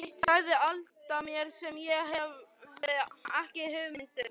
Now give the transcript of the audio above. Eitt sagði Alda mér sem ég hafði ekki hugmynd um.